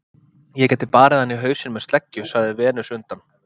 Ég gæti barið hana í hausinn með sleggju, sagði Venus undan